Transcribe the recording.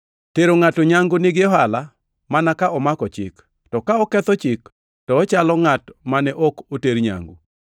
Tero ngʼato nyangu nigi ohala mana ka omako Chik, to ka oketho Chik to ochalo ngʼat mane ok oter nyangu.